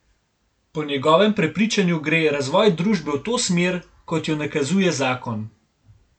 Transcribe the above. Po njegovem prepričanju gre razvoj družbe v to smer, kot jo nakazuje zakon.